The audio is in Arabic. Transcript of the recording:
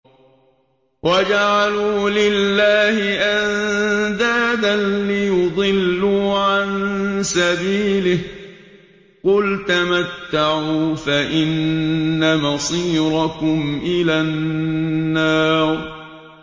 وَجَعَلُوا لِلَّهِ أَندَادًا لِّيُضِلُّوا عَن سَبِيلِهِ ۗ قُلْ تَمَتَّعُوا فَإِنَّ مَصِيرَكُمْ إِلَى النَّارِ